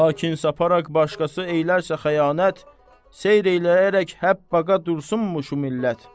Lakin saparaq başqası eylərsə xəyanət, seyr eləyərək həpbqa dursunmu şu millət?